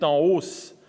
en hausse.